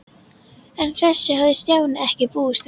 En þessu hafði Stjáni ekki búist við.